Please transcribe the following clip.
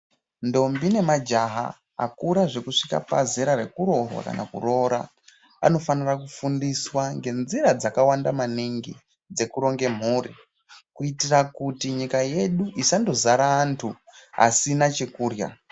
Ntombi nemajaha akura zvekusvika pazera rekuroorwa kana kuroora anofanira kufundiswa ngenzira dzakawanda maningi dzekuronge mhuri kuitira kuti nyika yedu isangozara antu asina chokurya.